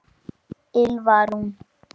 Ylfa Rún.